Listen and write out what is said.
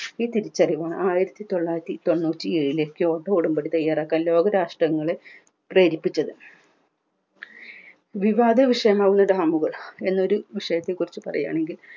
ഈ തിരിച്ചറിവാണ് ആയിരത്തിത്തൊള്ളായിരത്തി തൊണ്ണൂറ്റിയേഴിൽ കേന്ദ്ര ഉടമ്പടി തയ്യാറാക്കാൻ ലോകരാഷ്ട്രങ്ങളെ ഇരിപ്പിച്ചത് വിവാദ വിഷയങ്ങളിട വന്നത് എന്നൊരു വിഷയത്തെ കുറിച് പറയാണെങ്കിൽ